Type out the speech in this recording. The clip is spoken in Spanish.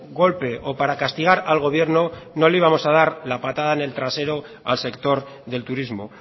golpe o para castigar al gobierno no le íbamos a dar la patada en el trasero al sector del turismo